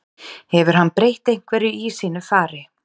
Hefur hann breytt einhverju í sínu fari?